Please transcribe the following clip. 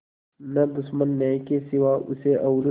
न दुश्मन न्याय के सिवा उसे और